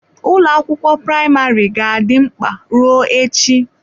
Ụlọ akwụkwọ praịmarị ga-adị mkpa ruo echi.